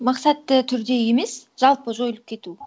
мақсатты түрде емес жалпы жойылып кету